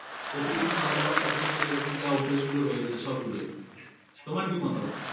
প্রতিদিন খাওয়া-দাওয়ার সাথে সাথে যে রকম যা অভ্যাসগুলো রয়েছে সবগুলোই তোমার কি মতামত?